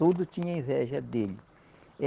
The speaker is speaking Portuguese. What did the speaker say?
Tudo tinha inveja dele.